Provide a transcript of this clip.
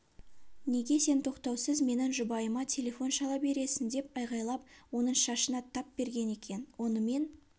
неге сен тоқтаусыз менің жұбайыма телефон шала бересің деп айғайлап оның шашына тап берген екен онымен